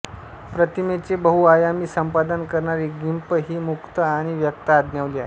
प्रतिमेचे बहुआयामी संपादन करणारी गिम्प ही मुक्त आणि व्यक्त आज्ञावली आहे